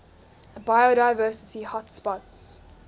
biodiversity hotspots